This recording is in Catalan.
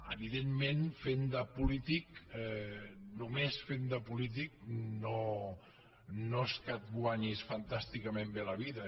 evidentment fent de polític només fent de polític no és que et guanyis fantàsticament bé la vida